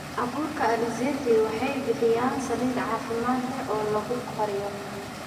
Abuurka alizeti waxay bixiyaan saliid caafimaad leh oo lagu kariyo.